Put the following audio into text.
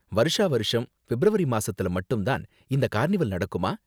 வருஷா வருஷம் பிப்ரவரி மாசத்துல மட்டும் தான் இந்த கார்னிவல் நடக்குமா?